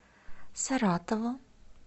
саратову